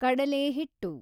ಕಡಲೆ ಹಿಟ್ಟು